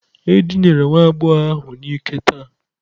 E dinara nwa agbọghọ ahụ n'ike taa.